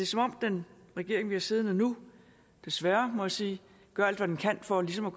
som om den regering vi har siddende nu desværre må jeg sige gør alt hvad den kan for ligesom at